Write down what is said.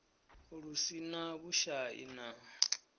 lu si na vhushai na